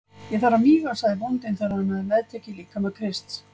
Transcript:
Ég þarf að míga, sagði bóndinn þegar hann hafði meðtekið líkama Krists.